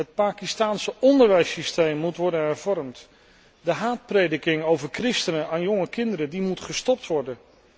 Het Pakistaanse onderwijssysteem moet worden hervormd, de haatprediking over christenen aan jonge kinderen moet gestopt worden.